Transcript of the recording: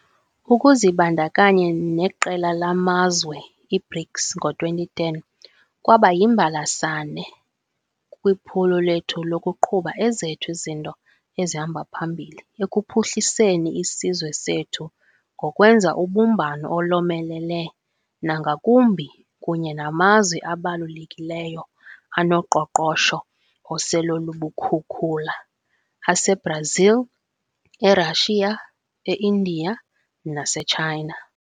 Ukuzibandakanya neqela lamazwe i-BRICS ngo-2010 kwaba yimbalasane kwiphulo lethu lokuqhuba ezethu izinto ezihamba phambili ekuphuhliseni isizwe sethu ngokwenza ubumbano olomelele nangakumbi kunye namazwe abalulekileyo anoqoqosho osele lubukhukhula ase-Brazil, e-Russia, e-India nase-China.